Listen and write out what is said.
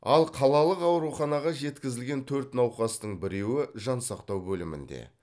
ал қалалық ауруханаға жеткізілген төрт науқастың біреуі жансақтау бөлімінде